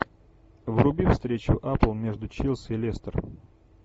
вруби встречу апл между челси и лестер